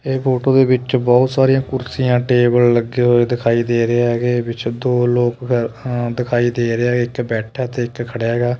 ਇਹ ਫੋਟੋ ਦੇ ਵਿੱਚ ਬਹੁਤ ਸਾਰੀਆਂ ਕੁਰਸੀਆਂ ਟੇਬਲ ਲੱਗੇ ਹੋਏ ਦਿਖਾਈ ਦੇ ਰਹੇ ਹੈਗੇ ਵਿੱਚ ਦੋ ਲੋਕ ਦਿਖਾਈ ਦੇ ਰਿਹਾ ਇੱਕ ਬੈਠਾ ਤੇ ਇੱਕ ਖੜਿਆ ਹੈਗਾ।